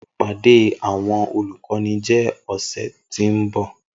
Ipade awọn olukọni jẹ ọsẹ ti n bọ